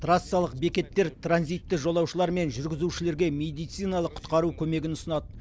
трассалық бекеттер транзитті жолаушылар мен жүргізушілерге медициналық құтқару көмегін ұсынады